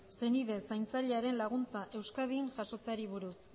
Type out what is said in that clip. senide zaintzailearen laguntza euskadin jasotzeari buruz